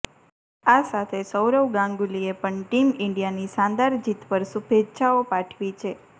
આ સાથે સૌરવ ગાંગુલીએ પણ ટીમ ઈન્ડિયાની શાનદાર જીત પર શુભેચ્છાઓ પાઠવી છે